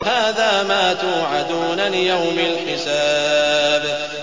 هَٰذَا مَا تُوعَدُونَ لِيَوْمِ الْحِسَابِ